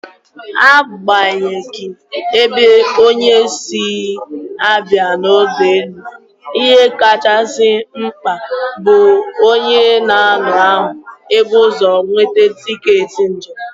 Agbanyeghi ebe onye si abịa n'ọdọ ụgbọelu, ihe kachasị mkpa bụ na onye ahụ ebu ụzọ nweta tiketi njem.